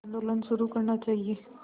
आंदोलन शुरू करना चाहिए